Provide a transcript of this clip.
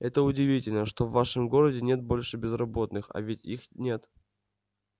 это удивительно что в вашем городе нет больше безработных а ведь их нет